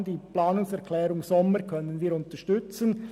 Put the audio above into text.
Deshalb können wir die Planungserklärung Sommer unterstützen.